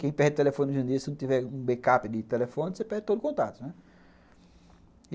Quem perde o telefone no janeiro, se não tiver um backup de telefone, você perde todo o contato, né?